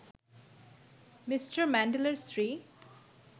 Me. ম্যান্ডেলার স্ত্রী